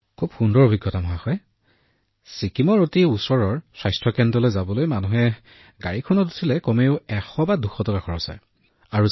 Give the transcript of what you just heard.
এইটো এটা মহান অভিজ্ঞতা আছিল প্ৰধানমন্ত্ৰীজী সত্যটো হৈছে ছিকিমৰ নিকটতম পিএইচচি তালৈ যাবলৈ মানুহে এখন বাহনত উঠি কমেও এক বা দুশ টকা ভাড়া দিব লাগিব